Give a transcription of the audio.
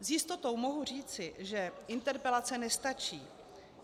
S jistotou mohu říci, že interpelace nestačí.